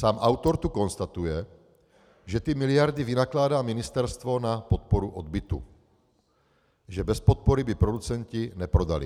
Sám autor tu konstatuje, že ty miliardy vynakládá ministerstvo na podporu odbytu, že bez podpory by producenti neprodali.